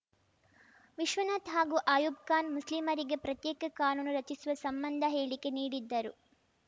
ವಿಶ್ವನಾಥ್‌ ಹಾಗೂ ಆಯೂಬ್‌ ಖಾನ್‌ ಮುಸ್ಲಿಮರಿಗೆ ಪ್ರತ್ಯೇಕ ಕಾನೂನು ರಚಿಸುವ ಸಂಬಂಧ ಹೇಳಿಕೆ ನೀಡಿದ್ದರು